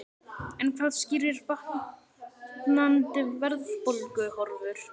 En hvað skýrir batnandi verðbólguhorfur?